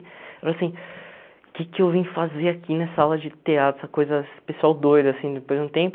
Eu falei assim, o que que eu vim fazer aqui nessa aula de teatro, essa coisa esse pessoal doido, assim, depois de um tempo.